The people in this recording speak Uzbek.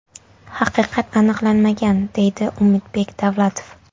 Haqiqat aniqlanmagan”, deydi Umidbek Davlatov.